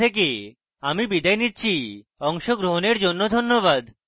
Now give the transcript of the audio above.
I I T Bombay থেকে আমি বিদায় নিচ্ছি অংশগ্রহণের জন্য ধন্যবাদ